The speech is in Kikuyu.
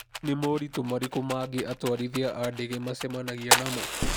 Nĩ moritũ marĩkũ mangĩ atwarithia a ndege macemanagia namo?